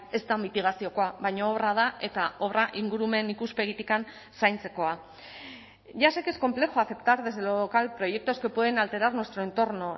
ez da mitigaziokoa baina obra da eta obra ingurumen ikuspegitik zaintzekoa ya sé que es complejo aceptar desde lo local proyectos que pueden alterar nuestro entorno